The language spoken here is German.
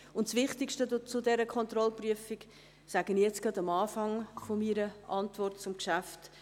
Das Wichtigste zu dieser Kontrollprüfung sage ich gleich zu Beginn meiner Antwort zum Geschäft.